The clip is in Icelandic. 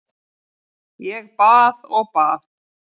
Ég bað og bað.